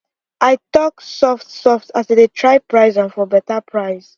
i talk soft soft as i dey try price am for better price